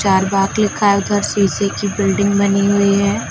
लिखा है उधर शीशे की बिल्डिंग बनी हुई है।